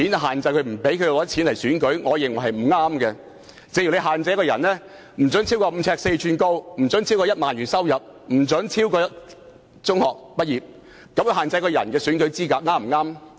同一道理，如果我們把選舉資格限制為身高不得超過5呎4吋，收入不得超過1萬元，以及學歷不得超過中學畢業，這樣又對不對呢？